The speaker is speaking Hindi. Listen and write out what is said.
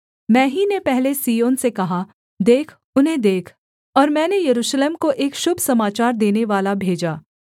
मैं ही ने पहले सिय्योन से कहा देख उन्हें देख और मैंने यरूशलेम को एक शुभ समाचार देनेवाला भेजा